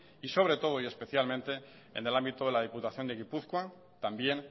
y sobre todo y especialmente en el ámbito de la diputación de gipuzkoa también